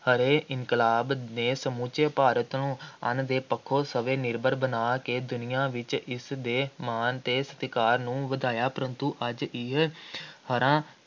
ਹਰੇ ਇਨਕਲਾਬ ਨੇ ਸਮੁੱਚੇ ਭਾਰਤ ਨੂੰ ਅੰਨ ਦੇ ਪੱਖੋਂ ਸਵੈ-ਨਿਰਭਰ ਬਣਾ ਕੇ ਦੁਨੀਆ ਵਿੱਚ ਇਸਦੇ ਦੇ ਮਾਣ ਅਤੇ ਸਤਿਕਾਰ ਨੂੰ ਵਧਾਇਆ, ਪਰੰਤੂ ਅੱਜ ਇਹ ਹਰਾ